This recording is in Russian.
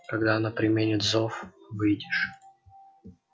когда она применит зов выйдешь